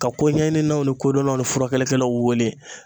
Ka koɲɛɲininaw ni kodɔnaw ni furakɛlikɛlaw wele.